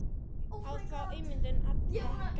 Á því myndu allir græða.